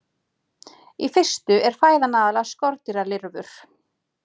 Í fyrstu er fæðan aðallega skordýralirfur.